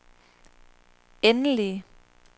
endelige